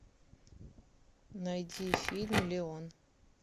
найди фильм леон